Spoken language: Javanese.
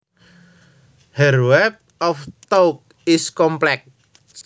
Her web of thoughts is complex